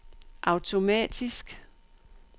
automatisk